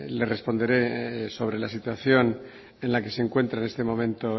le responderé sobre la situación en la que se encuentra en este momento